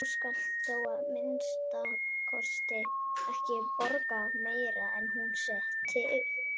Þú skalt þó að minnsta kosti ekki borga meira en hún setti upp.